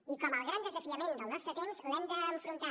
i com el gran desafiament del nostre temps l’hem d’enfrontar